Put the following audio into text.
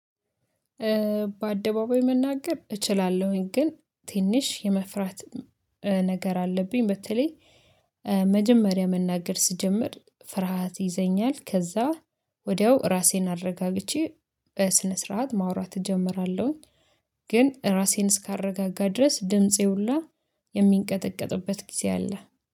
በአደባባይ መናገር እችላለሁኝ ግን ትንሽ የመፍራት ነገር አለብኝ። በተለይ መጀመሪያ መናገር ስጀምር ፍርሃት ይዘኛል። ከዛ ወዲያው ራሴን አረጋግቼ በስነ ስርዓት ማውራት እጀምራለሁኝ። ግን ራሴን እስካረጋጋ ድረስ ድምፄ ሁላ የሚንቀጠቀጥበት ጊዜ አለ